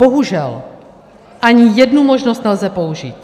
Bohužel ani jednu možnost nelze použít.